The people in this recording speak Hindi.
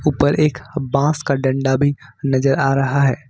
ऊपर एक बस का डंडा भी नजर आ रहा है।